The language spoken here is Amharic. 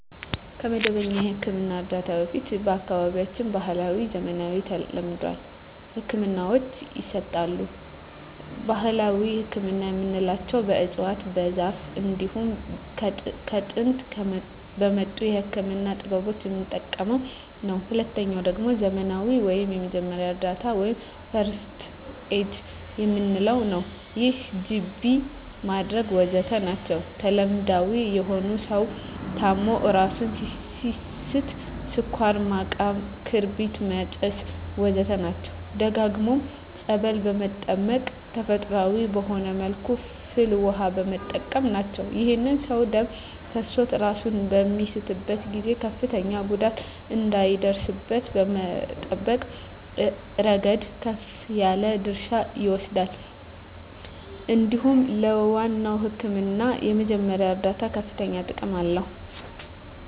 ከመደበኛ የሕክምና እርዳታ በፊት በአካባቢያችን ባህለዊ፣ ዘመናዊና ተለምዷዊ ህክምናወች ይሰጣሉ። ባህላዊ ህክምና የምንለዉ በእፅዋት በዛር እንዲሁም ከጥንት በመጡ የህክምና ጥበቦች የምንጠቀመዉ ነዉ። ሁለተኛዉ ደግሞ ዘመናዊ ወይም የመጀመሪያ እርዳታ(ፈርክት ኤድ) የምንለዉ ነዉ ይህም ጅቢ ማድረግ ወዘተ ናቸዉ። ተለምዳዊ የሆኑት ሰዉ ታሞ እራሱን ሲስት ስኳር ማቃም ክርቢት ማጨስ ወዘተ ናቸዉ። ደግሞም ፀበል በመጠመቅ ተፈጥሮአዊ በሆነ መልኩ ፍል ዉሃ በመጠቀም ናቸዉ። ይህም ሰዉ ደም ፈሶት እራሱን በሚስትበት ጊዜ ከፍተኛ ጉዳት እንዳይደርስበት ከመጠበቅ እረገድ ከፍ ያለ ድርሻ ይወስዳል እንዲሁም ለዋናዉ ህክምና የመጀመሪያ እርዳታ ከፍተኛ ጥቅም አለዉ።